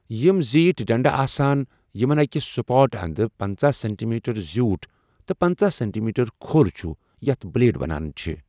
یمِ زیٹھِ ڈنڈٕ آسان یمن اكہ سپاٹ اند پنژاہ سینٹیمیٹر زِیوٗٹھ تہٕ پٕنژٕہ سینٹیمیٹر كھو٘ل چھٗ ، یتھ بلیڈ ونان چھِ ۔